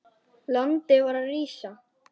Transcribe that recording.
Landið var að rísa.